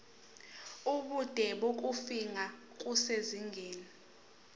ubude bokufingqa kusezingeni